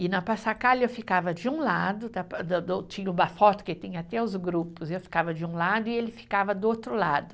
E na eu ficava de um lado, tinha uma foto que tem até os grupos, eu ficava de um lado e ele ficava do outro lado.